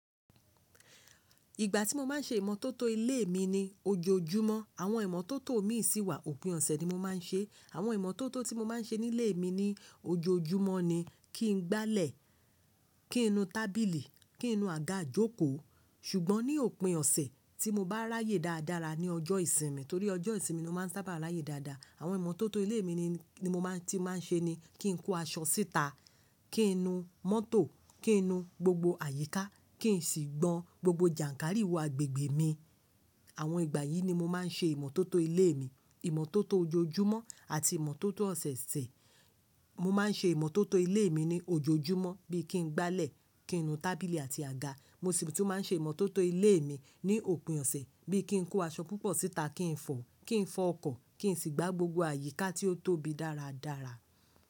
Ìgbà tí mo máa ń ṣe ìmọ́tótó ilé mi ni ojoojúmọ́. Àwọn ìmọ́tótó mi sì wà òpin ọ̀sẹ̀ ni mo máa ń ṣe. Àwọn ìmọ́tótó tí mo máa ń ṣe nílé mi ní ojoojúmọ́ ni kí n gbálẹ̀, kí n nu tábìlì, kí n nu àga ìjókòó. Ṣùgbọ́n ní òpin ọ̀sẹ̀ tí mo bá ráyè dáradára ní ọjọ́ ìsinmi, torí ọjọ́ ìsinmi ni mo máa ń sábà ráyè dáadáa. Àwọn ìmọ́tótó ilé mi ni, ti máa ń ṣe ni kí n kó aṣọ síta, kí n nu mótò, kí n nu gbogbo àyíká, kí n sì gbọn gbogbo jànkárìwọ̀ agbègbè mi. Àwọn ìgbà yìí ni mo máa ń ṣe ìmọ́tótó ilé mi. Ìmọ́tótó ojoojúmọ́ àti ìmọ́tótó ọ̀sẹ̀ ọ̀sẹ̀. Mo máa ń ṣe ìmọ́tótó ilé mi ní ojoojúmọ́ bí i kí n gbálẹ̀, kí n nu tábìlì àti àga. Mo sì tún máa ń ṣe ìmọ́tótó ilé mi ní òpin ọ̀sẹ̀ bí i kí n kó aṣọ púpọ̀ síta, kí n fọ, kí n fọ ọkọ̀, kí n sì gbá gbogbo àyíká tí ó tóbi dáradára.